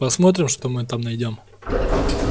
посмотрим что мы там найдём